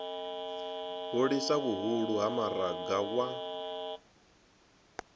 hulisa vhuhulu ha maraga wa